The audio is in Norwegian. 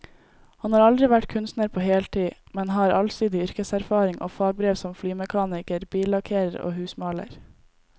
Han har aldri vært kunstner på heltid, men har allsidig yrkeserfaring og fagbrev som flymekaniker, billakkerer og husmaler.